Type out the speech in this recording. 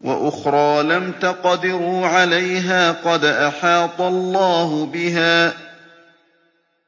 وَأُخْرَىٰ لَمْ تَقْدِرُوا عَلَيْهَا قَدْ أَحَاطَ اللَّهُ بِهَا ۚ